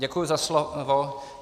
Děkuji za slovo.